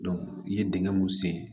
i ye dingɛ mun sen